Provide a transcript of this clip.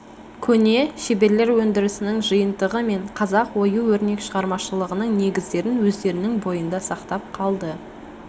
көне шеберлер өндірісінің жиынтығы мен қазақ ою-өрнек шығармашылығының негіздерін өздерінің бойында сақтап қалды